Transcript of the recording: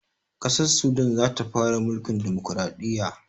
Ƙasar sudan zata fara mulkin dimukuraɗiyya